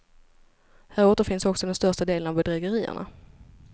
Här återfinns också den största delen av bedrägerierna.